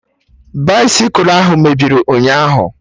Baisịkụ ahụ mebiri ụnyaahụ